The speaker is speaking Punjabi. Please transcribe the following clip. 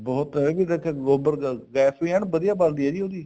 ਬਹੁਤ ਹੈ ਇੱਥੇ ਗੋਬਰ ਗੈਸ ਵੀ ਐਨ ਵਧੀਆ ਬਣਦੀ ਹੈ ਜੀ ਉਹਦੀ